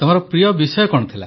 ତମ ପ୍ରିୟ ବିଷୟ କଣ